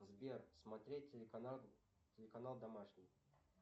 сбер смотреть телеканал домашний